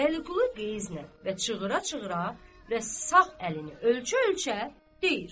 Vəliqulu qəzblə və çığıra-çığıra və sağ əlini ölçə-ölçə deyir: